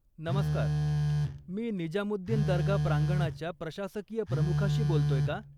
नमस्कार, मी निजामुद्दीन दर्गा प्रांगणाच्या प्रशासकीय प्रमुखाशी बोलतोय का?